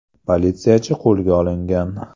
Politsiyachi qo‘lga olingan.